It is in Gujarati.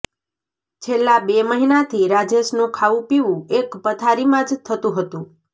છેલ્લા બે મહિનાથી રાજેશનું ખાવું પીવું એક પથારીમાં જ થતું હતું